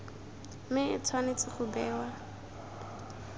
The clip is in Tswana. mme e tshwanetse go bewa